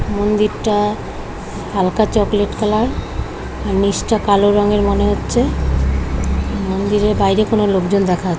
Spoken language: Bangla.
মন্দিরটা হালকা চকলেট কালার আর নীচটা কালো রঙের মনে হচ্ছে। মন্দিরের বাইরে কোনো লোকজন দেখা যা--